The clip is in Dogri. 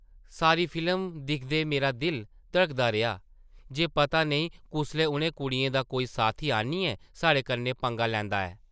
सारी फिल्म दिखदे मेरा दिल धड़कदा रेहा जे पता नेईं कुसलै उʼनें कुड़ियें दा कोई साथी आनियै साढ़े कन्नै पंगा लैंदा ऐ ।